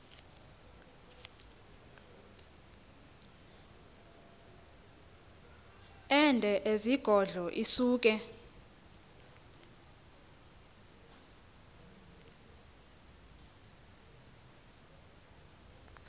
ende ezigodlo isuke